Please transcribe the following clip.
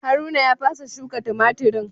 Haruna ya fasa shuka tumatirin.